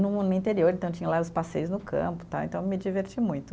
No no interior, então tinha lá os passeios no campo tal, então eu me diverti muito.